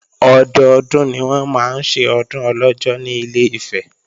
Ọdọdún ni wọ́n máa ń ṣe Ọdún Ọlọ́jọ́ ní Ilé-Ifẹ̀